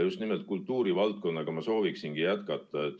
Just nimelt kultuurivaldkonnaga ma sooviksingi jätkata.